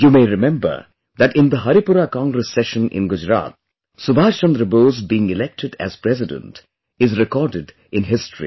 You may remember that in the Haripura Congress Session in Gujarat, Subhash Chandra Bose being elected as President is recorded in history